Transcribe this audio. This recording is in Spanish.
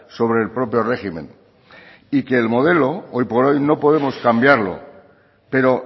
sobre el propio régimen y que el modelo hoy por hoy no podemos cambiarlo pero